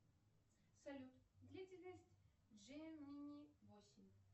салют длительность джемини восемь